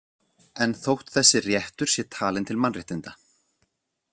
En þótt þessi réttur sé talinn til mannréttinda.